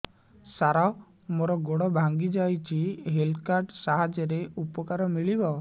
ସାର ମୋର ଗୋଡ଼ ଭାଙ୍ଗି ଯାଇଛି ହେଲ୍ଥ କାର୍ଡ ସାହାଯ୍ୟରେ ଉପକାର ମିଳିବ